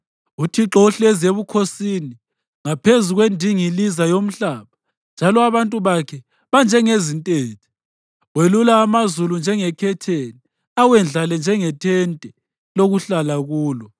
UThixo uhlezi ebukhosini ngaphezu kwendingiliza yomhlaba, njalo abantu bakhe banjengezintethe. Welula amazulu njengekhetheni, awendlale njengethente lokuhlala kulo.